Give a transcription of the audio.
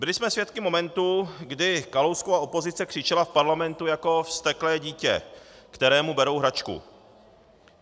Byli jsme svědky momentu, kdy Kalouskova opozice křičela v parlamentu jako vzteklé dítě, kterému berou hračku.